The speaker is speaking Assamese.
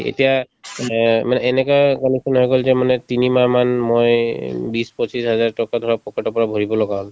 এতিয়া অ মানে এনেকুৱা condition হৈ গল যে মানে তিনিমাহমান মই বিশ পঁচিশ হাজাৰ টকা ধৰা pocket ৰ পৰা ভৰিব লগা হল